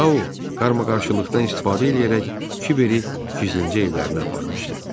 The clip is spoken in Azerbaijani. Sau qarşıqlıqdan istifadə eləyərək Kiberi gizlincə evlərinə aparmışdı.